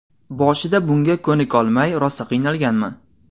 Boshida bunga ko‘nikolmay rosa qiynalganman.